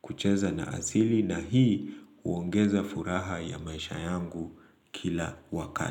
kucheza na asili na hii huongeza furaha ya maisha yangu kila wakati.